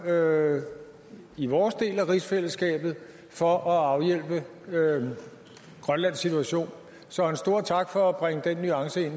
gøre i vores del af rigsfællesskabet for at afhjælpe grønlands situation så en stor tak for at bringe den nuance ind